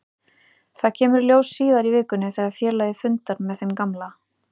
Það kemur í ljós síðar í vikunni þegar félagið fundar með þeim gamla.